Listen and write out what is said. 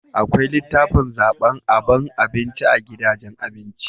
Akwai litafin zaban aban abinci a gidajen abinci